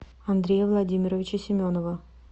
андрея владимировича семенова